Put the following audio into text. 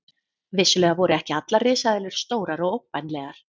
Vissulega voru ekki allar risaeðlur stórar og ógnvænlegar.